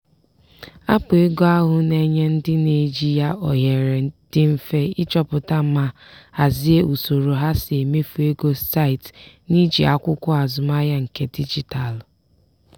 aapụ ego ahụ na-enye ndị na-eji ya ohere dị mfe ịchọpụta ma hazie usoro ha si emefu ego site n'iji akwụkwọ azụmahịa nke dijitalụ.